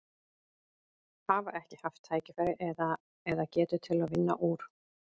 Hafa ekki haft tækifæri eða, eða getu til að vinna úr?